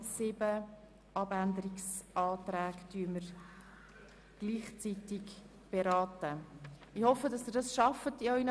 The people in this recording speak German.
Im Voranschlag 2018 ist der Saldo der Produktgruppe 5.7.7 «Angebote für Menschen mit einem Pflege-, Betreuungs-, besonderen Bildungsbedarf» um CHF 0,6 Millionen zu erhöhen.